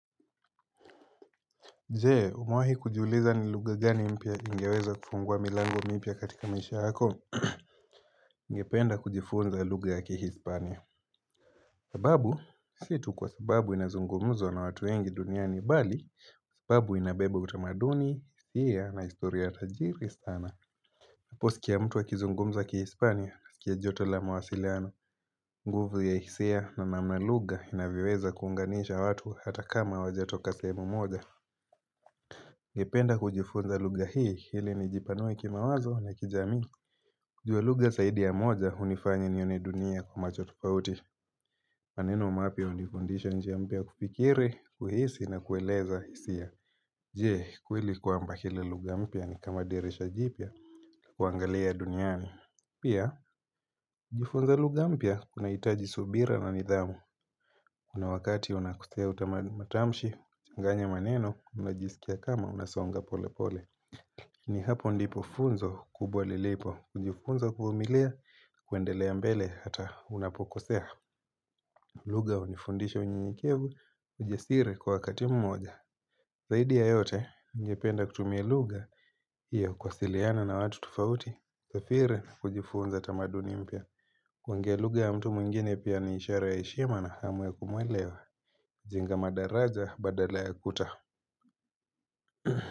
Je, umewahi kujiuliza ni lugha gani mpya ingeweza kufungua milango mipya katika maisha yako ningependa kujifunza lugha ya kihispania sababu, si tu kwa sababu inazungumzwa na watu wengi duniani bali Kwa sababu inabeba utamaduni, hisiya na historia tajiri sana napo sikia mtu akizungumza kihispania, sikia joto la mawasiliano nguvu ya hisia na namna lugha inavyoweza kuunganisha watu hata kama hawajatoka sehemu moja ningependa kujifunza lugha hii, ili nijipanue kimawazo na kijamii kujua lugha zaidi ya moja, hunifanya nione dunia kwa macho tufauti maneno mapya hunifundisha njia mpya ya kufikiri, kuhisi na kueleza hisia Je, kweli kwamba kili lugha mpya nikama dirisha jipya, kuangalia duniani Pia, kujifunza lugha mpya, kunahitaji subira na nidhamu kuna wakati unakosea matamshi, kuchanganya maneno, unajisikia kama, unasonga polepole ni hapo ndipo funzo kubwa lilipo unajifunza kuvumilia kuendelea mbele hata unapokosea lugha hunifundisha unyenyekevu ujasiri kwa wakati mmoja Zaidia ya yote ningependa kutumia lugha Iyo kuwasiliana na watu tufauti usafiri kujifunza tamaduni mpya kuongea lugha ya mtu mwingine pia niishara ya heshima na hamu ya kumwelewa jenga madaraja badala ya kuta.